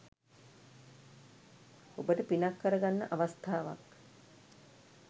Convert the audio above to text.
ඔබට පිනක් කරගන්න අවස්ථාවක්.